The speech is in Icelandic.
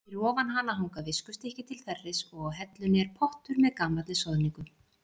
Fyrir ofan hana hanga viskustykki til þerris og á hellunni er pottur með gamalli soðningu.